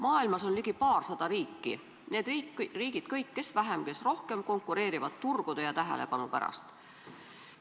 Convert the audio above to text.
Maailmas on ligi paarsada riiki ja need kõik, kes vähem, kes rohkem, konkureerivad turgude ja tähelepanu pärast.